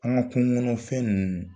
An ka kungo kɔnɔ fɛn ninnu.